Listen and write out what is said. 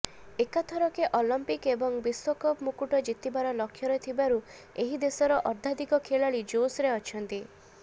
ଏକାଥରକେ ଅଲିମ୍ପିକ୍ ଏବଂ ବିଶ୍ବକପ୍ ମୁକୁଟ ଜିତିବାର ଲକ୍ଷ୍ୟରେ ଥିବାରୁ ଏହି ଦେଶର ଅର୍ଧାଧିକ ଖେଳାଳି ଜୋସ୍ରେ ଅଛନ୍ତି